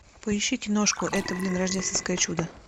поищи киношку это блин рождественское чудо